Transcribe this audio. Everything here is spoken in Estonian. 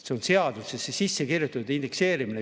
See on seadusesse sisse kirjutatud – indekseerimine.